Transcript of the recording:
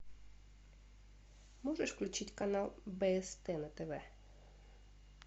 можешь включить канал бст на тв